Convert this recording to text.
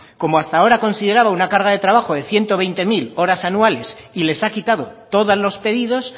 como hasta ahora consideraba una carga de trabajo de ciento veinte mil horas anuales y les ha quitado todos los pedidos